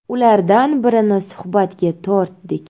Ulardan birini suhbatga tortdik.